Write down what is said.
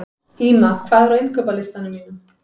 Ýma, hvað er á innkaupalistanum mínum?